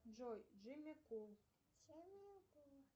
джой джимми кул